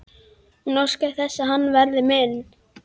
Hún óskar þess að hann verði minn.